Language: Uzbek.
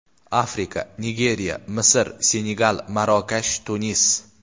Afrika: Nigeriya, Misr, Senegal, Marokash, Tunis.